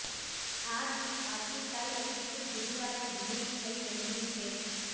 આ ગીત આવતીકાલે એટલે કે ગુરુવારે રિલીઝ થવા જઈ રહ્યું છે